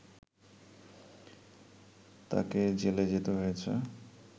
তাকে জেলে যেতে হয়েছে